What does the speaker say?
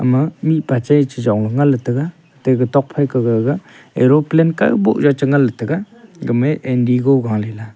ema mihpa che chechong ngan ley taga tega tokphai ke gaga aeroplane kaw boh ley che ngan ley taiga gamey indogo galela.